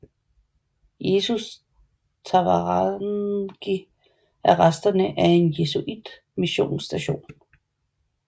Jesus Tavarangue er resterne af en jesuitmissionsstation